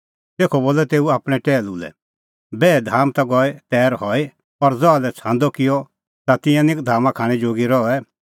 तेखअ बोलअ तेऊ आपणैं टैहलू लै बैहे धाम ता गई तैर हई और ज़हा लै छ़ांदअ किअ त तिंयां निं धामा खाणैं जोगी रहै